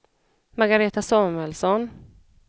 Margaretha Samuelsson